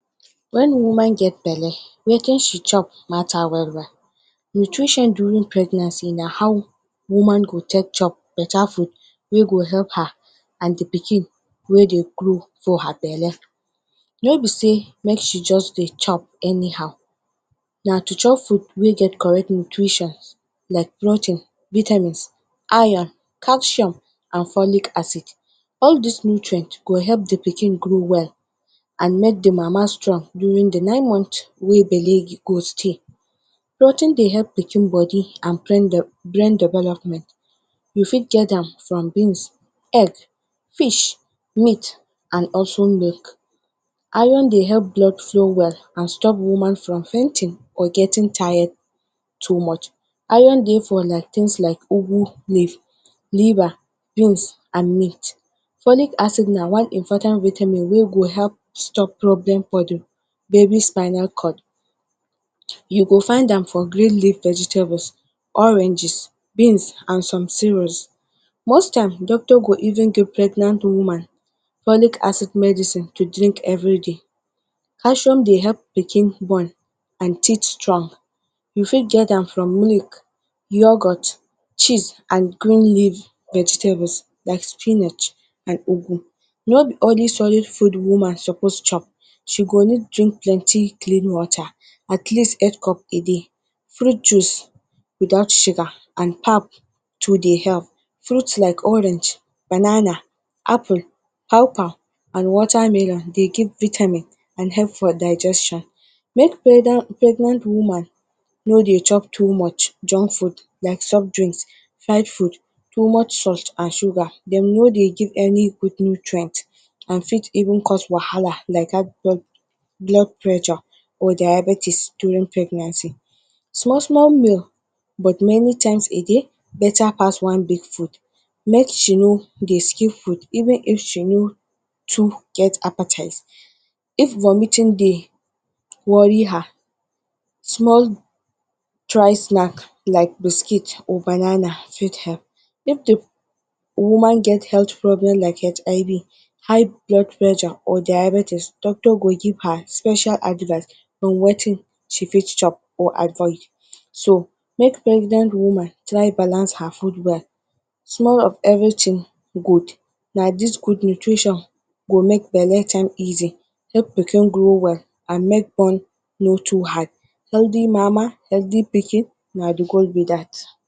When woman get bele wetin she chop matter well-well, nutrition during pregnancy na how woman go take chop better food wey go help her and the pikin wey dey grow for her bele, no be sey make she just dey chop anyhow na to chop food wey get correct nutrition like protein, vitamins, iron, calcium and folic acid. All this nutrient go help the pikin grow well and make the mama strong during the nine month wey bele go stey. Protein dey help pikin body and brain development, you fit get am from beans, egg, fish, meat and also milk. Iron dey help blood flow well and stop woman from fainting or getting tired too much. Iron dey for like things like ugwu leaf, liver, beans and meat. Folic acid na one important vitamin wey go help stop problem….? baby spinal cord. You go find am for green leave vegetables, oranges, beans and some cereals. Most times doctor go even give pregnant woman folic acid medicine to drink every day calcium dey help pikin bone and teeth strong, you fit get am from milk, yoghurt, cheese and green leave vegetable like spinach and ogwu, no be only solid food woman suppose chop, you go need drink plenty clean water at least eight cup a day, fruit juice without sugar and pap too dey help. Fruit like orange, banana, apple, paw-paw and watermelon dey give vitamin and help for digestion. Make pregnant woman no dey chop too much junk food like soft drink, fried food, too much salt and sugar dem no dey give any good nutrient and dem fit even cause wahala like high blood pressure or diabetes during pregnancy. Small-small meal but many times a day beta pass one big food, may she no dey skip food even if she no too get appetite. If vomiting dey worry her, small dry snack like biscuit or banana fit help, if the woman get problem like HIV, high blood pressure or diabetes doctor go give her special advice on wetin she fit chop or avoid. So, make pregnant woman try balance her food well, small of everything good na this good nutrition go make bele Easy, help pikin grow well and make bone no too hard. Healthy mama, healthy pikin na the goal be that.